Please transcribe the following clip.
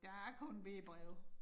Der er kun B breve